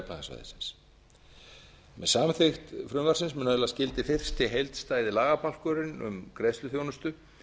efnahagssvæðisins með samþykkt frumvarpsins mun öðlast gildi fyrsti heildstæði lagabálkurinn um greiðsluþjónustu